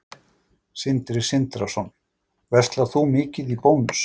Sindri Sindrason: Verslar þú mikið í Bónus?